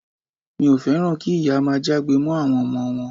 Mi ò féràn kí ìyá máa jágbe mọ́ àwọn ọmọ wọn.